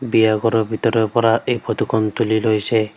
বিয়া ঘৰৰ ভিতৰৰ পৰা এই ফটো খন তুলি লৈছে।